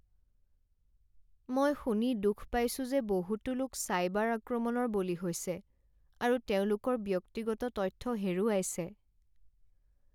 মই শুনি দুখ পাইছো যে বহুতো লোক চাইবাৰ আক্ৰমণৰ বলি হৈছে আৰু তেওঁলোকৰ ব্যক্তিগত তথ্য হেৰুৱাইছে।